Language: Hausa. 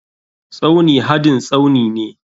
Tsauni hadin Tsaunine.